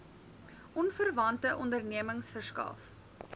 onverwante ondernemings verskaf